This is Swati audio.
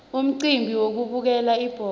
umcimbi wekubukela ibhola